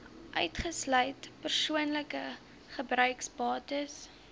uitgesluit persoonlike gebruiksbates